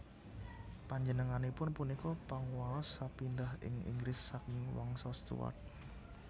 Panjenenganipun punika panguwaos sepindhah ing Inggris saking Wangsa Stuart